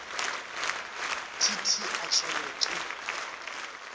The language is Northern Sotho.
t t a tlelwe ke